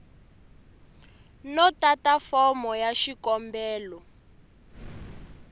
no tata fomo ya xikombelo